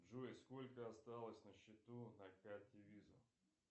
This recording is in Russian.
джой сколько осталось на счету на карте виза